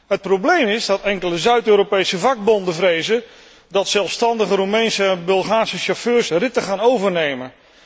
Het probleem is dat enkele Zuid Europese vakbonden vrezen dat zelfstandige Roemeense en Bulgaarse chauffeurs ritten gaan overnemen.